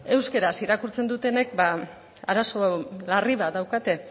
euskaraz irakurtzen dutenen arazo larri bat daukate